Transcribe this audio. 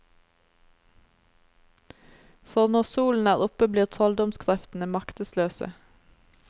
For når solen er oppe blir trolldomskreftene maktesløse.